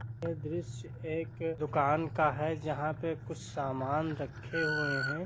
यह द्रश्य एक दुकान का है जहाँ पे कुछ सामान रखे हुए है।